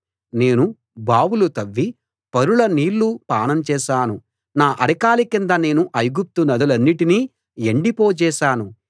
నేను బావులు తవ్వి పరుల నీళ్లు పానం చేశాను నా అరకాలి కింద నేను ఐగుప్తు నదులన్నిటినీ ఎండిపోజేశాను